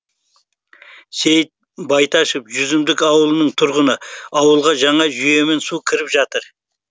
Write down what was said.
сейіт байташов жүзімдік ауылының тұрғыны ауылға жаңа жүйемен су кіріп жатыр